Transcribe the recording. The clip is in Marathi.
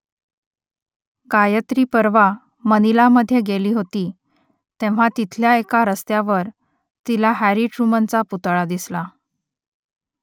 गायत्री परवा मनिलामध्ये गेली होती तेव्हा तिथल्या एका रस्त्यावर तिला हॅरी ट्रुमनचा पुतळा दिसला